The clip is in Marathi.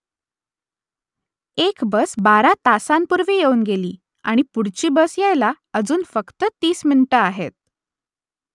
एक बस बारा तासांपूर्वी येऊन गेली आणि पुढची बस यायला अजून फक्त तीस मिनिटं आहेत